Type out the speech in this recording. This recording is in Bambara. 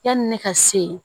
Yani ne ka se